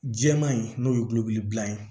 Jɛman in n'o ye gulɔgu bile ye